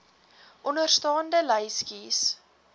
onderstaande lys kies